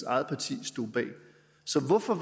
eget parti stod bag så hvorfor